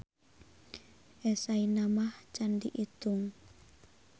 Eseyna mah can diitung.